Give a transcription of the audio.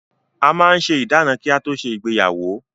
A máa ń ṣe ìdána kí á tó ṣe ìgbéyàwó.